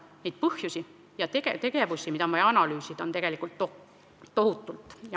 Neid põhjusi ja tegevusi, mida on vaja analüüsida, on tohutult.